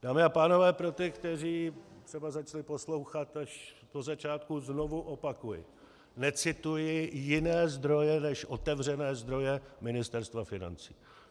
Dámy a pánové, pro ty, kteří třeba začali poslouchat až po začátku, znovu opakuji, necituji jiné zdroje než otevřené zdroje Ministerstva financí.